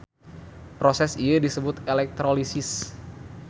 Proses ieu disebut elektrolisis.